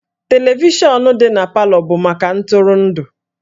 Televishọnụ dị na Palọ bụ maka ntụrụndụ